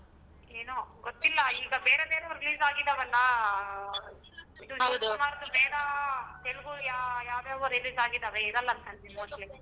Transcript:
ಏನೋ ಗೊತ್ತಿಲ್ಲ ಈಗ ಬೇರೆ ಬೇರೆ release ಆಗಿದವಲ್ಲ ಹಾ ಶಿವಕುಮಾರ್ ದು ವೇದ ಯಾ~ ಯಾವ್ ಯಾವ್ release ಆಗಿದಾವೆ ಇರಲ್ಲ ಅನ್ಕೊಂತೀನಿ mostly .